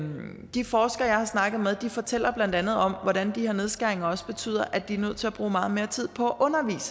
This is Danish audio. de forskere jeg har snakket med fortæller blandt andet om hvordan de her nedskæringer også betyder at de er nødt til at bruge meget mere tid på